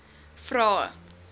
vrae